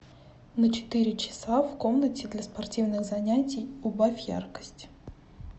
на четыре часа в комнате для спортивных занятий убавь яркость